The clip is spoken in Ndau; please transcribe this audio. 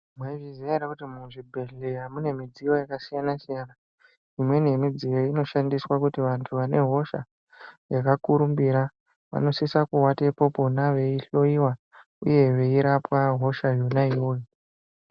Mwaizviziya ere kuti muzvibhedhleya mune midziyo yakasiyana-siyana? Imweni yemidziyo iyi inoshandiswa kuti vantu vane hosha yakakurumbira, vanosisa kuwatepo pona veihloiwa ,uye veirapwa hosha yona iyoyo.